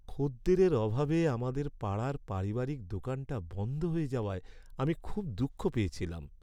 খদ্দেরের অভাবে আমাদের পাড়ার পারিবারিক দোকানটা বন্ধ হয়ে যাওয়ায় আমি খুব দুঃখ পেয়েছিলাম।